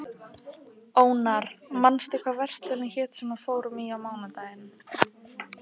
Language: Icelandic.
Ónar, manstu hvað verslunin hét sem við fórum í á mánudaginn?